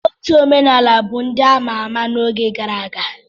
Otu omenala bụ ndị a ma ama n'oge gara aga.